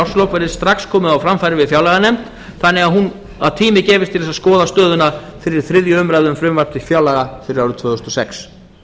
árslok verði strax komið á framfæri við fjárlaganefnd þannig að tími gefist til að skoða stöðuna fyrir þriðju umræðu við frumvarp til fjárlaga fyrir árið tvö þúsund og sex